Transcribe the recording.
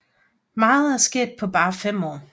Meget er sket på bare 5 år